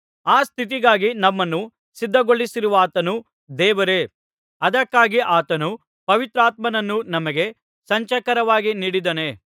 ಆ ಸ್ಥಿತಿಗಾಗಿ ನಮ್ಮನ್ನು ಸಿದ್ಧಗೊಳಿಸಿರುವಾತನು ದೇವರೇ ಅದಕ್ಕಾಗಿ ಆತನು ಪವಿತ್ರಾತ್ಮನನ್ನು ನಮಗೆ ಸಂಚಕಾರವಾಗಿ ನೀಡಿದ್ದಾನೆ